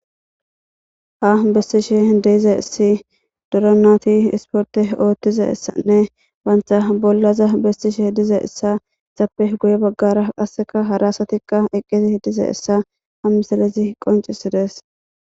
a bestishe deize essi doranati isporte oottiza essanne baantha bollaza bestishe dize essa sappe guye baggara qasseka harasatikka eqqezi dize issa hamisalezi qoncisides